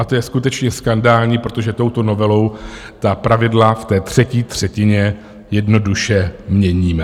A to je skutečně skandální, protože touto novelou ta pravidla v té třetí třetině jednoduše měníme.